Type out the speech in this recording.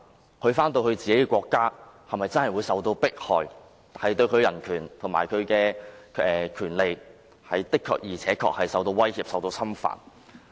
如他返回自己的國家，是否真的會受到迫害，他的人權及權利是否真的會受到威脅及侵犯？